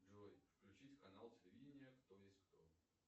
джой включить канал телевидения кто есть кто